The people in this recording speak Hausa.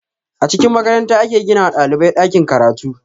A cikin makaranta ake gina wa ɗalibai ɗakin karatu